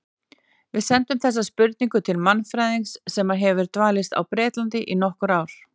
Við sendum þessa spurningu til mannfræðings sem hefur dvalist á Bretlandi í nokkur ár.